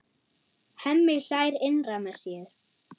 Hemmi hlær innra með sér.